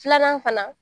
Filanan fana